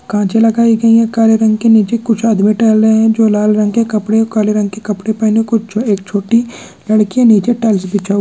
कांचे लगाई गई हैं काले रंग के नीचे कुछ आदमी टहल रहे हैं जो लाल रंग के कपड़े और काले रंग के कपड़े पहने हैं कुछ जो एक छोटी लड़की है नीचे टाइल्स बिछा--